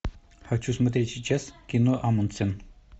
хочу смотреть сейчас кино амундсен